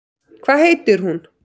Hvað heitir hún?